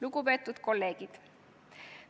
Lugupeetud kolleegid!